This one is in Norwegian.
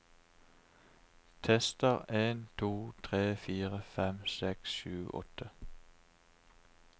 Tester en to tre fire fem seks sju åtte